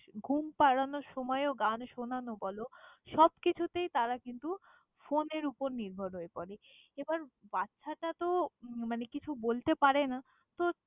ঘুম পাড়ানোর সময়ও গান শোনান বলো। সবকিছুতেই তারা কিন্তু phone এর ওপর নির্ভর হয়ে পড়ে। এবার বাচ্ছাটা তো মানে কিছু বলতে পারে না, তো।